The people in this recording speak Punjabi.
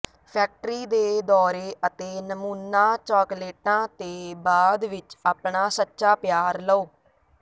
ਫੈਕਟਰੀ ਦੇ ਦੌਰੇ ਅਤੇ ਨਮੂਨਾ ਚਾਕਲੇਟਾਂ ਤੇ ਬਾਅਦ ਵਿੱਚ ਆਪਣਾ ਸੱਚਾ ਪਿਆਰ ਲਓ